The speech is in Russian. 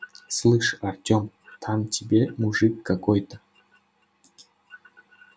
слышь артём там тебе мужик какой-то